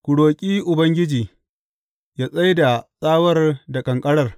Ku roƙi Ubangiji, yă tsai da tsawar da ƙanƙarar.